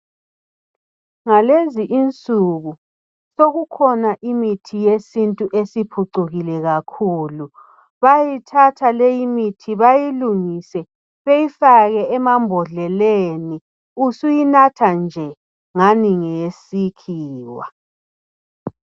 Ngalezi insuku sokukhona imithi yesintu esiphucukile kakhulu. Bayithatha leyimithi bayilungise beyifake emambodleleni usuyinatha nje ngani ngeyesikhiwa.